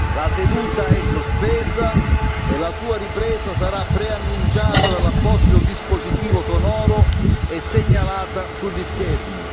La seduta è sospesa e la sua ripresa sarà preannunciata dall'apposito dispositivo sonoro e segnalata sugli schermi.